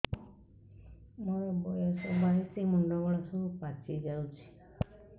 ମୋର ବୟସ ବାଇଶି ମୁଣ୍ଡ ବାଳ ସବୁ ପାଛି ଯାଉଛି